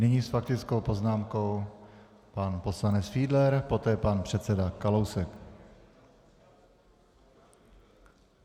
Nyní s faktickou poznámkou pan poslanec Fiedler, poté pan předseda Kalousek.